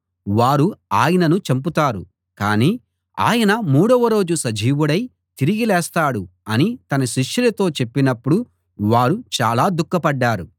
వారు ఆయనను చంపుతారు కానీ ఆయన మూడవ రోజు సజీవుడై తిరిగి లేస్తాడు అని తన శిష్యులతో చెప్పినప్పుడు వారు చాలా దుఃఖపడ్డారు